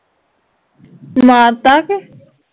ਮਾਰਤਾ ਕਿ